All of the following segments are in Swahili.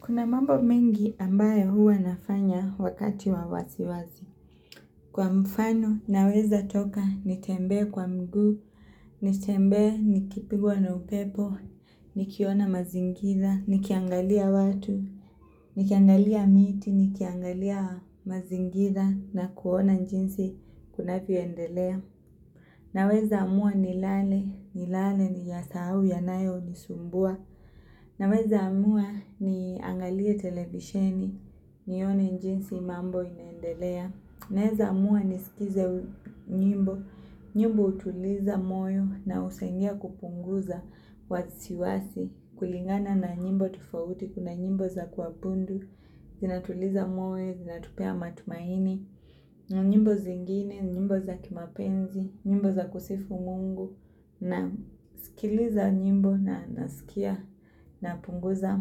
Kuna mambo mengi ambayo huwa nafanya wakati wa wasiwasi. Kwa mfano naweza toka nitembee kwa mguu, nitembee nikipigwa na upepo, nikiona mazingira, nikiangalia watu, nikiangalia miti, nikiangalia mazingira na kuona jinsi kunavyoendelea. Naweza amua nilale, nilale niyasahau yanayo nisumbua Naweza amua niangalie televisheni, nione jinsi mambo inaendelea. Naweza amua nisikize nyimbo, nyimbo hutuliza moyo na husaidia kupunguza wasiwasi. Kulingana na nyimbo tofauti, kuna nyimbo za kuabundu, zinatuliza moyo, zinatupea matumaini nyimbo zingine, nyimbo za kimapenzi, nyimbo za kusifu mungu nasikiliza nyimbo na nasikia napunguza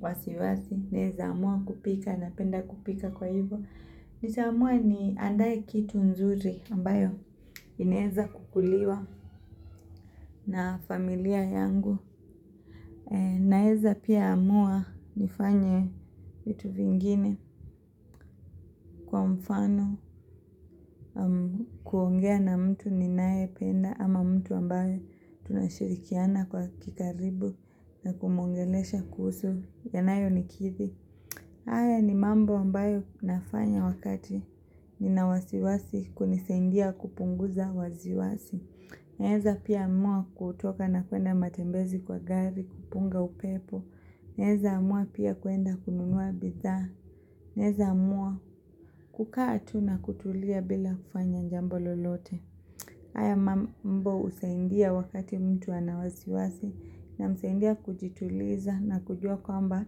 wasiwasi. Naeza amua kupika napenda kupika kwa hivyo nitaamua niandae kitu nzuri ambayo inaeza kukuliwa na familia yangu. Naeza pia amua nifanye vitu vingine kwa mfano kuongea na mtu ninayependa ama mtu ambaye tunashirikiana kwa kikaribu na kumwongelesha kuhusu yanayonikidhi haya ni mambo ambayo nafanya wakati nina wasiwasi kunisaidia kupunguza wasiwasi Naeza pia amua kutoka na kuenda matembezi kwa gari kupunga upepo Naeza amua pia kuenda kununua bidhaa Naeza amua kukaa tu na kutulia bila kufanya jambo lolote haya mambo husaidia wakati mtu ana wasiwasi Namsaidia kujituliza na kujua kwamba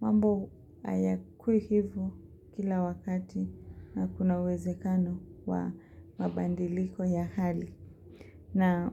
mambo hayakui hivyo kila wakati. Na kuna uwezekano wa mabadiliko ya hali na.